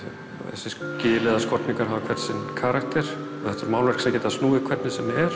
þessi gil eða skorningar hafa hvern sinn karakter og þetta eru málverk sem geta snúið hvernig sem er